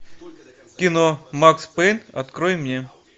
кино макс пейн открой мне